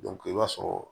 i b'a sɔrɔ